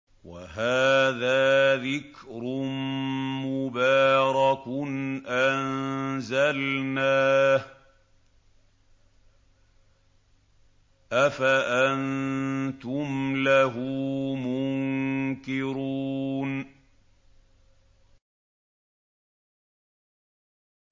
وَهَٰذَا ذِكْرٌ مُّبَارَكٌ أَنزَلْنَاهُ ۚ أَفَأَنتُمْ لَهُ مُنكِرُونَ